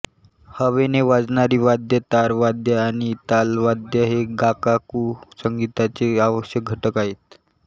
हवेने वाजणारी वाद्ये तार वाद्य आणि तालवाद्य हे गागाकू संगीताचे आवश्यक घटक आहेत